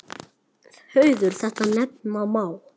Hauður þetta nefna má.